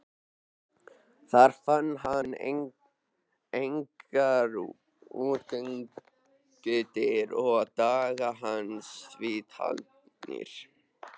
Þar fann hann engar útgöngudyr og dagar hans því taldir.